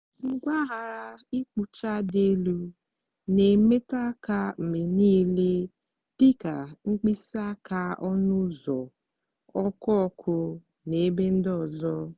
mpaghara ịkpụcha dị elu na-emetụ aka mgbe niile dị ka mkpịsị aka ọnụ ụzọ ọkụ ọkụ na ebe ndị ọzọ.